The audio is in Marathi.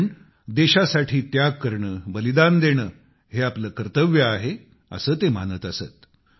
कारण देशासाठी त्याग करणे बलिदान देणे हे आपले कर्तव्य आहे असे ते मानत असत